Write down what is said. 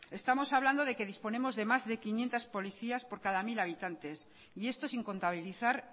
estamos hablando de que disponemos de más de quinientos policías por cada cien mil habitantes y esto sin contabilizar